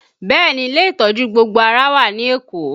Bẹẹ ni, ilé ìtọ́jú gbogbo ara wà ní Èkó